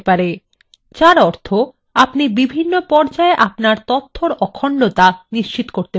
যার অর্থ আপনি বিভিন্ন পর্যায়ে আপনার তথ্যর অখণ্ডতা নিশ্চিত করতে পারেন